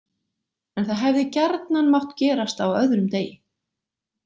En það hefði gjarnan mátt gerast á öðrum degi.